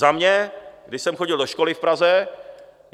Za mě, když jsem chodil do školy v Praze.